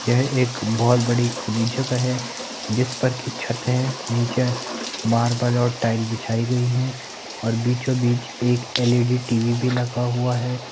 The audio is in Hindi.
यह एक बहुत बड़ी खुली जगह है जिसपर की छत है नीचे मार्बल और टाइल बिछाई गई हैं और बीचों बीच एक एलईडी टीवी भी लगा हुआ है।